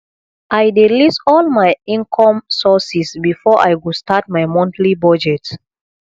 i dey list all my income sources before i go start my monthly budget